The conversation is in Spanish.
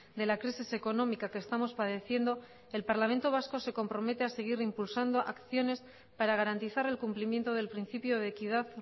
de la crisis económica que estamos padeciendo el parlamento vasco se compromete a seguir impulsando acciones para garantizar el cumplimiento del principio de equidad